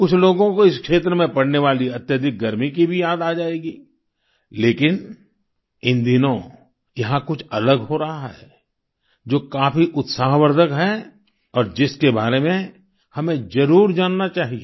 कुछ लोगों को इस क्षेत्र में पड़ने वाली अत्यधिक गर्मी की भी याद आ जाएगी लेकिन इन दिनों यहाँ कुछ अलग हो रहा है जो काफी उत्साहवर्धक है और जिसके बारे में हमें जरुर जानना चाहिए